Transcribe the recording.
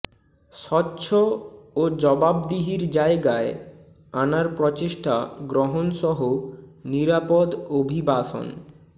স্বচ্ছ ও জবাবদিহির জায়গায় আনার প্রচেষ্টা গ্রহণসহ নিরাপদ অভিবাসন